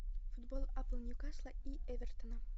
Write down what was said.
футбол апл ньюкасла и эвертона